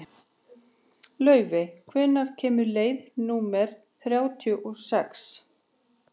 Laufey, hvenær kemur leið númer þrjátíu og sex?